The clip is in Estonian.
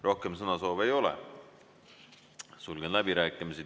Rohkem sõnasoove ei ole, sulgen läbirääkimised.